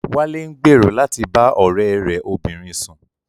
Wálé ń gbèrò láti bá ọ̀rẹ́ rẹ̀ obìnrin sùn